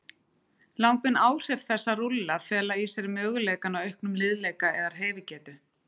Langvinn áhrif þess að rúlla fela í sér möguleika á auknum liðleika eða hreyfigetu.